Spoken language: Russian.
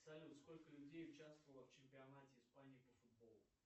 салют сколько людей участвовало в чемпионате испании по футболу